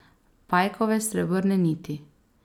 Pajkove srebrne niti.